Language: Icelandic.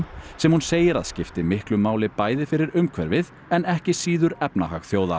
sem hún segir að skipti miklu máli bæði fyrir umhverfið en ekki síður efnahag þjóða